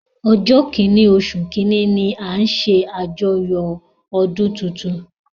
Ojo kinni osu kinni ni a ńṣe ajoyo ọdun titun.